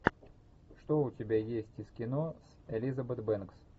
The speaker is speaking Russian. что у тебя есть из кино с элизабет бэнкс